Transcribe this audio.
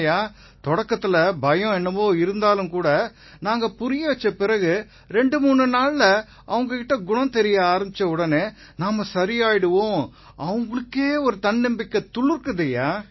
நிதேஷ் குப்தா தொடக்கத்தில பயம் என்னவோ இருந்தாலும்கூட நாங்க புரியவச்ச பிறகு 23 நாட்கள்ல அவங்ககிட்ட குணம் தெரிய ஆரம்பிச்சவுடனே நாம சரியாயிருவோம்னு அவங்களுக்கே ஒரு தன்னம்பிக்கை துளிர்க்குது